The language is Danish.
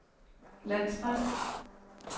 landsret